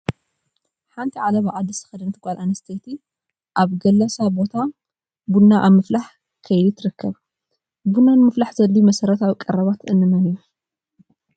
ሓንቲ ዓለባ ዓዲ ዝተኸደነት ጓል ኣነስተይቲ ኣብ ገላሳ ቦታ ቡና ኣብ ምፍላሕ ከይዲ ትርከብ፡፡ ቡና ንምፍላሕ ዘድልዩ መሰረታዊ ቀረባት እንመን እዮም?